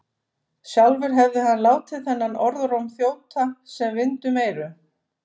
Sjálfur hefði hann látið þennan orðróm þjóta sem vind um eyru.